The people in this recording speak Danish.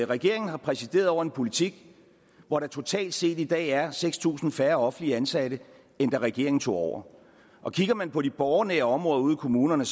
regeringen har præsideret over en politik hvor der totalt set i dag er seks tusind færre offentligt ansatte end da regeringen tog over og kigger man på de borgernære områder ude i kommunerne